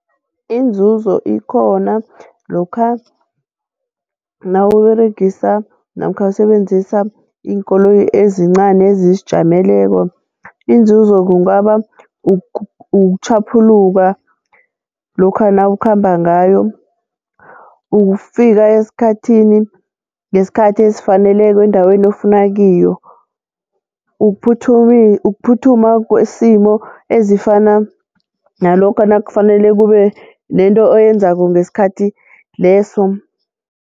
Iinzuzo ikhona lokha nawuberegisa namkha usebenzisa iinkoloyi ezincani ezizijameleko, inzuzo kungaba ukutjhaphuluka lokha nawukhamba ngayo, ukufika ngesikhathi esifaneleko endaweni ofuna kiyo, ukuphuthuma kwesimo ezifana nalokha nakufanele kube nento oyenzako ngesikhathi leso.